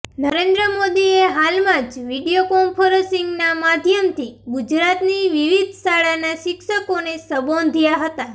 નરેન્દ્ર મોદીએ હાલમાં જ વીડિયો કોન્ફરન્સીંગના માધ્યમથી ગુજરાતની વિવિધ શાળાના શિક્ષકોને સંબોધ્યા હતા